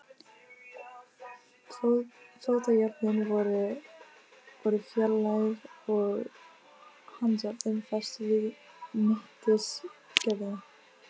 Fótajárnin voru fjarlægð og handjárnin fest við mittisgjörðina.